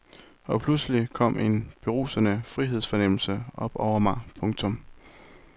Og pludselig kom en berusende frihedsfornemmelse over mig. punktum